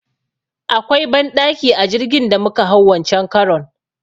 Akwai banɗaki a jirgin da muka hau wancen karon.